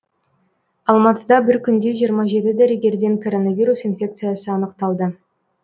алматыда бір күнде жиырма жеті дәрігерден коронавирус инфекциясы анықталды